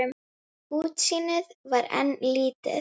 Útsýnið var enn lítið.